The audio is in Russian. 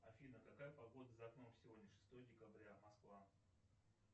афина какая погода за окном сегодня шестое декабря москва